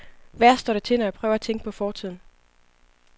Værst står det til, når jeg prøver på at tænke på fortiden.